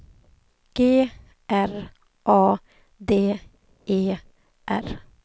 G R A D E R